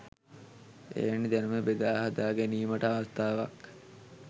එවැනි දැනුම බෙදා හදා ගැනීමට අවස්ථාවක්